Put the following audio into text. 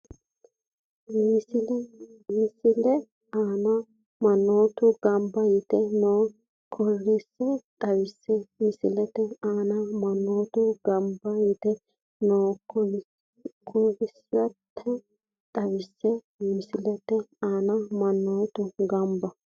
Misile aana mannotu gamba yite noo korkaata xawisse Misile aana mannotu gamba yite noo korkaata xawisse Misile aana mannotu gamba.